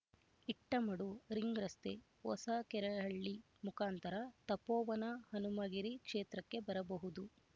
ಇಟ್ಟಮಡು ರಿಂಗ್‌ರಸ್ತೆ ಹೊಸಕೆರೆಹಳ್ಳಿ ಮುಖಾಂತರ ತಪೋವನ ಹನುಮಗಿರಿ ಕ್ಷೇತ್ರಕ್ಕೆ ಬರಬಹುದು